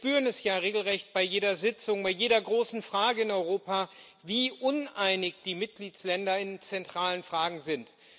Wir spüren es ja regelrecht bei jeder Sitzung, bei jeder großen Frage in Europa, wie uneinig die Mitgliedstaaten in zentralen Fragen sind.